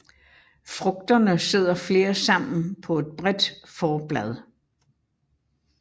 Frugterne sidder flere sammen på et bredt forblad